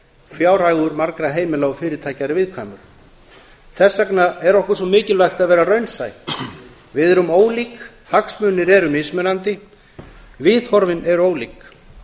fjárhagur margra heimila og fyrirtækja er viðkvæmur þess vegna er okkur svo mikilvægt að vera raunsæ við erum ólík hagsmunir eru mismunandi viðhorfin eru ólík